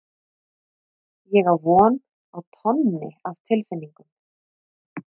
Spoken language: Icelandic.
Ég á von á tonni af tilfinningum.